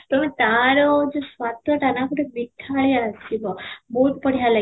ତମେ ତା'ର ସ୍ୱାଦ ଟା ନା ଗୋଟେ ମିଠାଳିଆ ଲାଗିବ ବହୁତ ବଢିଆ ଲାଗିବ